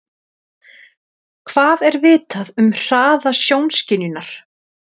Hvað er vitað um hraða sjónskynjunar?